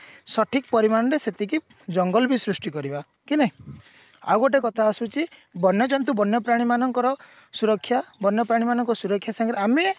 ସଠିକ ପରିମାଣରେ ସେତିକି ଜଙ୍ଗଲ ବି ସୃଷ୍ଟି କରିବା କି ନାଇଁ ଆଉ ଗୋଟେ କଥା ଆସୁଛି ବନ୍ୟ ଜନ୍ତୁ ବନ୍ୟ ପ୍ରାଣୀ ମାନଙ୍କର ସୁରକ୍ଷା ବନ୍ୟ ପ୍ରାଣୀ ମାନଙ୍କର ସୁରକ୍ଷା ସାଙ୍ଗରେ ଆମେ